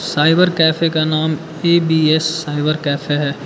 Cyber cafe का नाम A B S cyber cafe है।